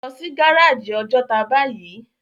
Lò si gáráji Òjòtá báyi